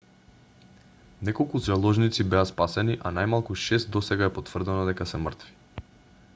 неколку заложници беа спасени а најмалку шест досега е потврдено дека се мртви